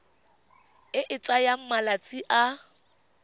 e e tsayang malatsi a